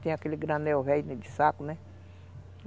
Tem aquele granel velho de saco, né?